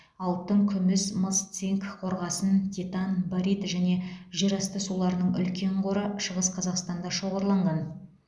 алтын күміс мыс цинк қорғасын титан барит және жерасты суларының үлкен қоры шығыс қазақстанда шоғырланған